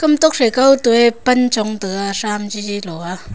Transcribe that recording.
tokphai khao to a pan chong taga thsm chi chi loa.